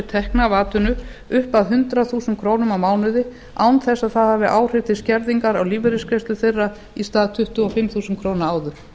tekna af atvinnu upp að hundrað þúsund krónur á mánuði án þess að það hafi áhrif til skerðingar á lífeyrisgreiðslu þeirra í stað tuttugu og fimm þúsund krónur áður